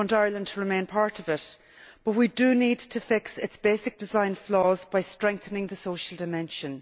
I want Ireland to remain part of it, but we do need to fix its basic design flaws by strengthening the social dimension.